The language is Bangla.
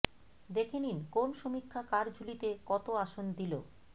দেখে নিন কোন সমীক্ষা কার ঝুলিতে কত আসন দিল